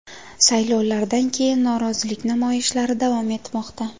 Saylovlardan keyin norozilik namoyishlari davom etmoqda.